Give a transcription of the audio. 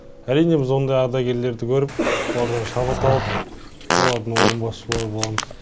әрине біз ондай ардагерлерді көріп олардан шабыт алып олардың орнын басушылар боламыз